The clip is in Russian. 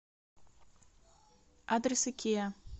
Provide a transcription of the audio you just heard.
адрес икеа